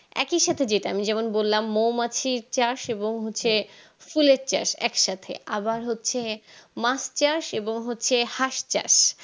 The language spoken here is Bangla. একই সাথে যেটা আমি যেমন বলাম মৌমাছি চাষ এবং হচ্ছে ফুলের চাষ একসাথে আবার হচ্ছে মাছ চাষ এবং হচ্ছে হাঁস চাষ